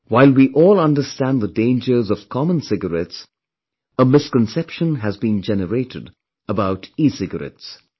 While we all understand the dangers of common cigarettes, a misconception has been generated about ecigarettes